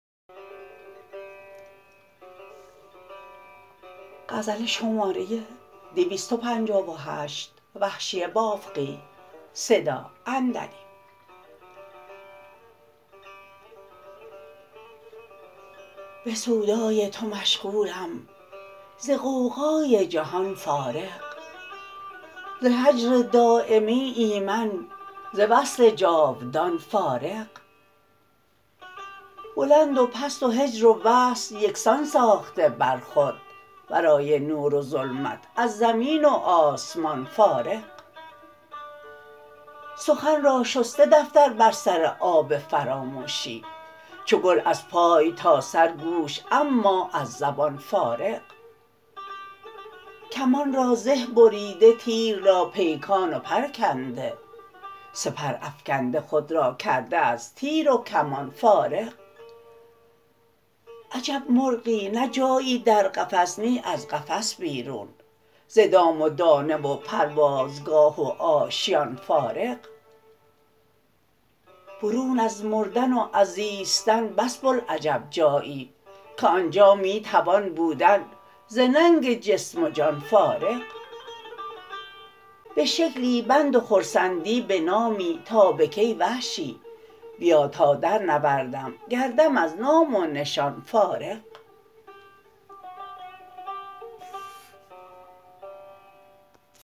به سودای تو مشغولم ز غوغای جهان فارغ ز هجر دایمی ایمن ز وصل جاودان فارغ بلند و پست و هجر و وصل یکسان ساخته بر خود ورای نور و ظلمت از زمین و آسمان فارغ سخن را شسته دفتر بر سر آب فراموشی چو گل از پای تا سر گوش اما از زبان فارغ کمان را زه بریده تیر را پیکان و پر کنده سپر افکنده خود را کرده از تیر و کمان فارغ عجب مرغی نه جایی در قفس نی از قفس بیرون ز دام و دانه و پروازگاه و آشیان فارغ برون از مردن و از زیستن بس بلعجب جایی که آنجا می توان بودن ز ننگ جسم و جان فارغ به شکلی بند و خرسندی به نامی تا به کی وحشی بیا تا در نوردم گردم از نام و نشان فارغ